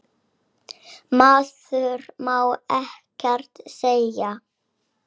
Maður má ekkert segja.